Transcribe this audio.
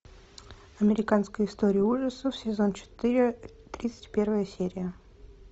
американская история ужасов сезон четыре тридцать первая серия